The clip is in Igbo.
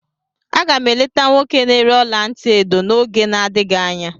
Aga m eleta nwoke na-ere ọla ntị edo n'oge na-adịghị anya.